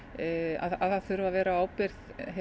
að það þurfi að vera á ábyrgð